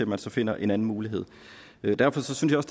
man så finder en anden mulighed derfor synes